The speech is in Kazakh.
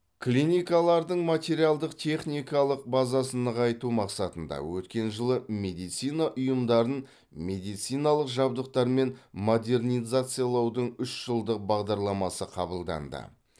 клиникалардың материалдық техникалық базасын нығайту мақсатында өткен жылы медицина ұйымдарын медициналық жабдықтармен модернизациялаудың үш жылдық бағдарламасы қабылданды